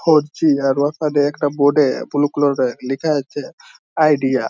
Four G -এর ওখানে একটা বোর্ড -এ বুলু কালার -এ লেখা আছে আইডিয়া ।